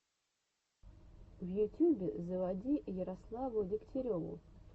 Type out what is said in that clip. в ютюбе заводи ярославу дегтяреву